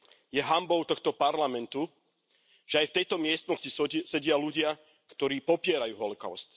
Je hanbou tohto parlamentu, že aj v tejto miestnosti sedia ľudia, ktorí popierajú holokaust.